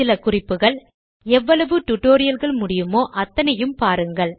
சில குறிப்புகள் எவ்வளவு டுடோரியல்கள் முடியுமோ அத்தனையும் பாருங்கள்